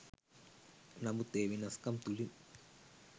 නමුත් ඒ වෙනස්කම් තුලින්